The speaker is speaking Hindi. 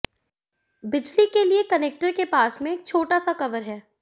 बिजली के लिए कनेक्टर के पास में एक छोटा सा कवर है